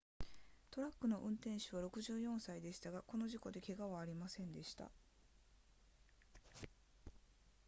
トラックの運転手は64歳でしたがこの事故で怪我はありませんでした